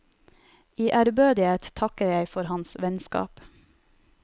I ærbødighet takker jeg for hans vennskap.